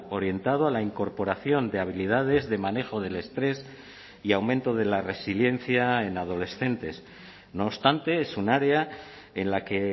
orientado a la incorporación de habilidades de manejo del estrés y aumento de la resiliencia en adolescentes no obstante es un área en la que